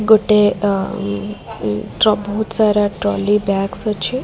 ଗୋଟେ ଏ ଅ ଟ୍ର ବହୁତ୍ ସାରା ଟଲି ବ୍ୟାଗସ୍ ଅଛି।